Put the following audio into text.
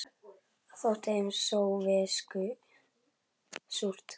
Það þótti þeim sovésku súrt.